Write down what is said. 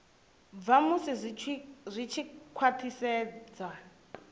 bva musi zwi tshi khwathisedzwa